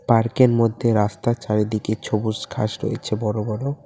Park -এর মধ্যে রাস্তার চারিদিকে সবুজ ঘাস রয়েছে বড়ো বড়ো।